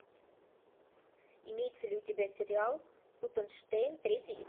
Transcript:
имеется ли у тебя сериал тутенштейн третий